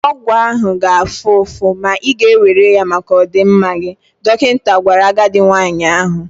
Ọgwụ ahụ ga-afụ ụfụ, ma ị ga-ewere ya maka ọdịmma gị, dọkịta gwara agadi nwanyị ahụ.